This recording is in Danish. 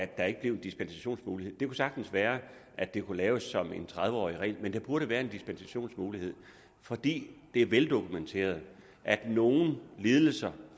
der ikke blev dispensationsmulighed det kunne sagtens være at det kunne laves som en tredive års regel men der burde være en dispensationsmulighed for det er veldokumenteret at nogle lidelser